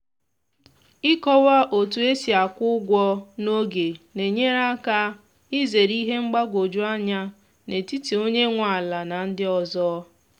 ịkọwa otu esi akwụ ụgwọ n'oge na-enyere aka izere ihe mgbagwoju anya n’etiti onye nwe ala na ndị ọzọ